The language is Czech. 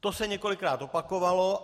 To se několikrát opakovalo.